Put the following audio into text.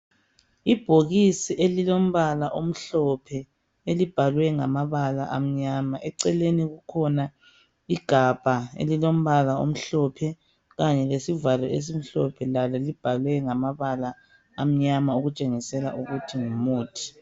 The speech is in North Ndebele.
Ibhokisi elilombala omhlophe elibhalwe ngamabala amnyama eceleni kukhona igabha elilombala omhlophe kanye lesivalo esimhlophe lalo libhalwe ngamabala amnyama okutshengisela ukuthi ngumuthi.